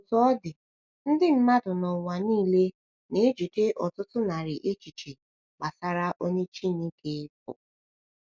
Otú ọ dị, ndị mmadụ n’ụwa niile na-ejide ọtụtụ narị echiche gbasara onye Chineke bụ.